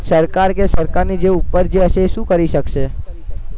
સરકાર કે સરકારની જે ઉપર જે હશે એ શું કરી શકશે